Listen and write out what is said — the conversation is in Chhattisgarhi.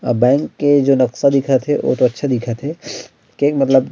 ए बन के जो नक्शा दिखत हे बहुत अच्छा दिखत हे केहेक मतलब--